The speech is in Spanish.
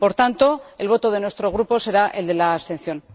Por tanto, el voto de nuestro Grupo será el de la abstención.